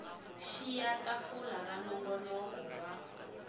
xiya tafula ra nongonoko wa